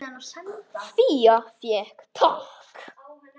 Fía fékk tak.